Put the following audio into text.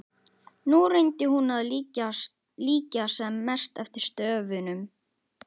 Nú reyndi hún að líkja sem mest eftir stöfunum.